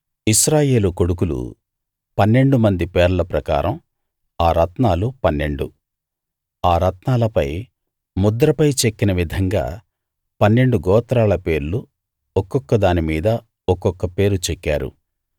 ఇశ్రాయేలు కొడుకులు పన్నెండు మంది పేర్ల ప్రకారం ఆ రత్నాలు పన్నెండు ఆ రత్నాలపై ముద్రపై చెక్కిన విధంగా పన్నెండు గోత్రాల పేర్లు ఒక్కొక్కదాని మీద ఒక్కొక్క పేరు చెక్కారు